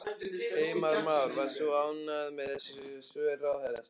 Heimir Már: Varst þú ánægð með þessi svör ráðherrans?